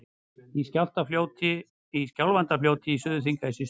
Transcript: Í Skjálfandafljóti í Suður-Þingeyjarsýslu.